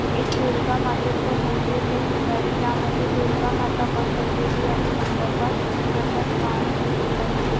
एक दुर्गा मातेच मंदिर दिसत आहे ज्या मध्ये दुर्गा माता बसवलेली आहे मंडपात तिच्या हातत बाण दिसत आहे.